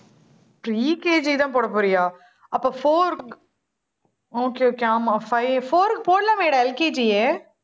pre KG தான் போடப் போறியா? அப்ப four, okay, okay ஆமா five four க்கு போடலாமேடா LKG யே